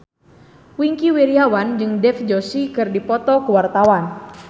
Wingky Wiryawan jeung Dev Joshi keur dipoto ku wartawan